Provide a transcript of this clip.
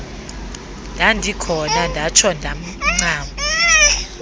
ndandikhona ndatsho ndancama